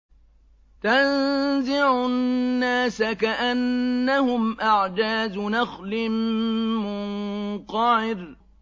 تَنزِعُ النَّاسَ كَأَنَّهُمْ أَعْجَازُ نَخْلٍ مُّنقَعِرٍ